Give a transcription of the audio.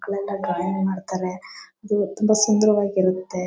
ಮಕ್ಕಳೆಲ್ಲ ಡ್ರಾಯಿಂಗ್ ಮಾಡ್ತಾರೆ ಹಮ್ ತುಂಬಾ ಸುಂದರವಾಗಿರುತ್ತೆ.